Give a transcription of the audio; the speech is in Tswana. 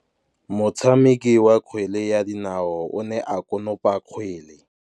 Motshameki wa kgwele ya dinaô o ne a konopa kgwele.